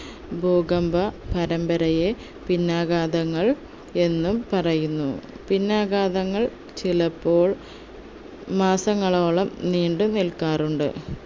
ഭൂകമ്പ പരമ്പരയെ പിന്നാഘാതങ്ങൾ എന്നും പറയുന്നു പിന്നാഘാതങ്ങൾ ചിലപ്പോൾ മാസങ്ങളോളം നീണ്ടു നിൽക്കാറുണ്ട്